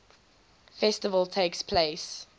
festival takes place